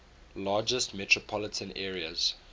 largest metropolitan areas